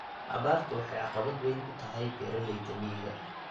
Abaartu waxay caqabad weyn ku tahay beeralayda miyiga.